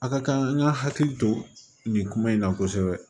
A ka kan an ka hakili to nin kuma in na kosɛbɛ